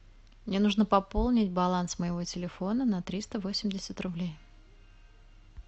мне нужно пополнить баланс моего телефона на триста восемьдесят рублей